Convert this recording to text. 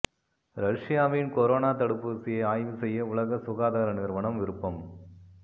ரஷ்யாவின் கொரோனா தடுப்பூசியை ஆய்வு செய்ய உலக சுகாதார நிறுவனம் விருப்பம்